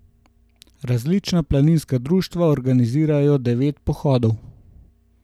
Različna planinska društva organizirajo devet pohodov.